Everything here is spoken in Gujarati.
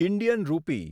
ઇન્ડિયન રૂપી